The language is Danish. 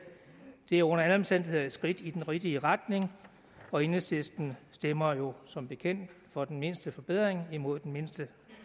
det er under alle omstændigheder et skridt i den rigtige retning og enhedslisten stemmer jo som bekendt for den mindste forbedring og imod den mindste